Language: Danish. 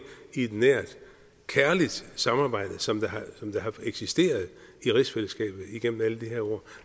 i et nært kærligt samarbejde som har eksisteret i rigsfællesskabet igennem alle de her år